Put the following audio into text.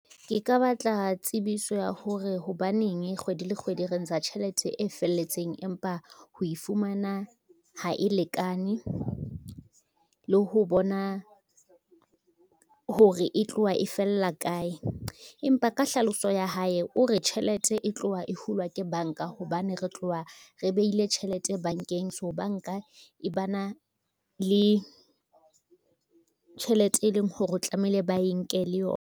Ke ka batla tsebiso ya hore hobaneng kgwedi le kgwedi re ntsha tjhelete e felletseng empa ho e fumana ha e lekane le ho bona, hore e tlowa e fella kae. Empa ka hlalosa ya hae, o re tjhelete e tlowa e hulwa ke banka hobane, re tlowa re beile tjhelete bankeng so banka e ba na le, tjhelete e leng hore tlamehile ba e nke le yona.